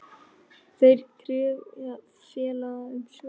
Þær krefja félagið um svör.